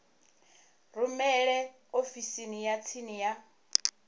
rumele ofisini ya tsini ya